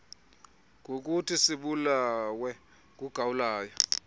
ngokuthi sibulawe ngugawulayo